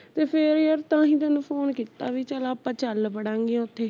ਤੇ ਫੇਰ ਯਾਰ ਤਾਂਹੀਂ ਤੈਨੂੰ phone ਕੀਤਾ ਵੀ ਚੱਲ ਆਪਾਂ ਚੱਲ ਵੜਾਂਗੇ ਓਥੇ